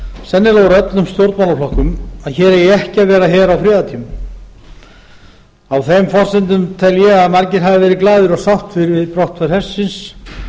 sennilega úr öllum stjórnmálaflokkum að hér eigi ekki að vera her á friðartímum á þeim forsendum tel ég að margir hafi verið glaðir og sáttir við brottför hersins